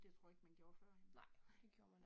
Det tror jeg ikke man gjorde førhen